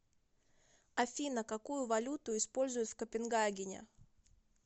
афина какую валюту используют в копенгагене